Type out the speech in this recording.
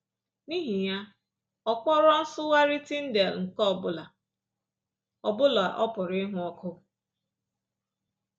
N’ihi ya, ọ kpọrọ nsụgharị Tyndale nke ọ bụla ọ bụla ọ pụrụ ịhụ ọkụ